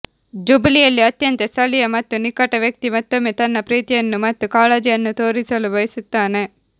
ಜುಬಿಲಿಯಲ್ಲಿ ಅತ್ಯಂತ ಸ್ಥಳೀಯ ಮತ್ತು ನಿಕಟ ವ್ಯಕ್ತಿ ಮತ್ತೊಮ್ಮೆ ತನ್ನ ಪ್ರೀತಿಯನ್ನು ಮತ್ತು ಕಾಳಜಿಯನ್ನು ತೋರಿಸಲು ಬಯಸುತ್ತಾನೆ